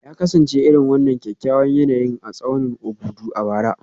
Ya kasance irin wannan kyakkyawan yanayin a tsaunin Obudu a bara